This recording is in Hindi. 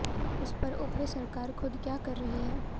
उस पर उप्र सरकार खुद क्या कर रही है